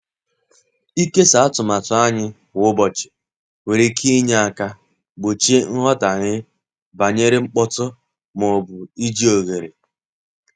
Ịkesa atụmatụ anyị kwa ụbọchị nwere ike inye aka gbochie nghọtahie banyere mkpọtụ ma ọ bụ iji oghere.